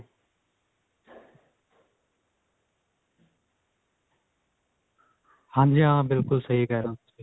ਹਾਂਜੀ ਹਾਂ ਬਿਲਕੁਲ ਸਹੀ ਕਿਹ ਰਹੇ ਹੋ ਤੁਸੀਂ